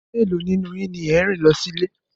Mélòó nínú yín ni ẹ̀ ń rìn lọ sí ilé